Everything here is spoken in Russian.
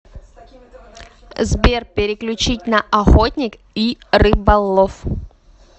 сбер переключить на охотник и рыболов